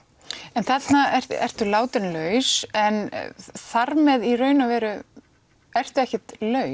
en þarna ertu ertu látin laus en þar með í raun og veru ertu ekkert laus